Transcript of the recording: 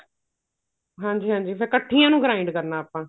ਹਾਂਜੀ ਹਾਂਜੀ ਫ਼ੇਰ ਇੱਕਠੀਆਂ ਨੂੰ grind ਕਰਨਾ ਆਪਾਂ